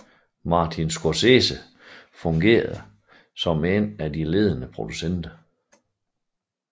Martin Scorsese fungerede som en af de ledende producenter